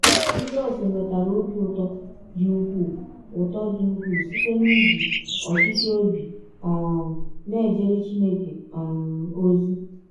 Jisọs nwetara ọbi ụtọ dị ụkwụụ ụtọ dị ụkwụụ site n’iji ọchịchọ ọbi um na - ejere Chineke um ọzi.